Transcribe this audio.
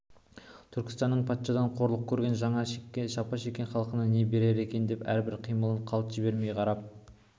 түркістанның патшадан қорлық көрген жапа шеккен халқына не берер екен деп әрбір қимылын қалт жібермей қарап